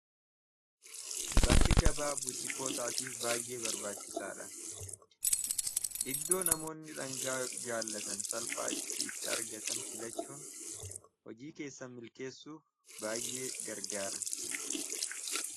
Bakki gabaa butiikootaatiif baay'ee barbaachisaa dha iddoo namoonni dhangaa jaallatan salphaa itti itti argatan filachuun hojii keessa milkeessuuf baay'ee gargaara